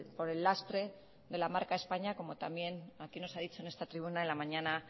por el lastre de la marca españa como también aquí nos ha dicho en esta tribuna en la mañana